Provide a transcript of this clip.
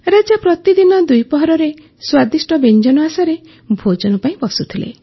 ରାଜା ପ୍ରତିଦିନ ଦ୍ୱିପହରରେ ସ୍ୱାଦିଷ୍ଟ ବ୍ୟଞ୍ଜନ ଆଶାରେ ଭୋଜନ ପାଇଁ ବସୁଥିଲେ